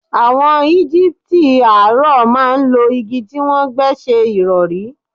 Àwọ̀n Egipiti àárọ̀ máa ń lo igi tí wọ́n gbẹ́ ṣẹ ìrọ̀rí.